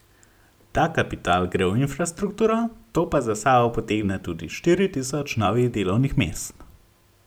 Ta kapital gre v infrastrukturo, to pa za sabo potegne tudi štiri tisoč novih delovnih mest.